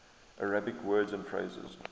arabic words and phrases